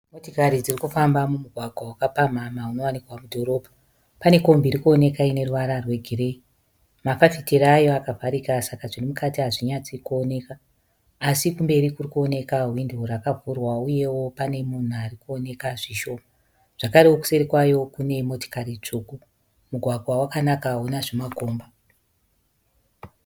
Motikari dzirikufamba mumugwagwa wakapamhamha unowanikwa mudhorobha. Pane kombi irikuoneka ineruvara rwegireyi. Mafafitera ayo akavharika saka zvirimukati hazvinyatsi kuoneka, asi kumberi kurikuoneka hwindo rakavhurwa uyewo pane munhu arikuoneka zvishoma. Zvakarewo kuseri kwayo kune motikari tsvuku Mugwagwa wakanaka hauna zvimakomba.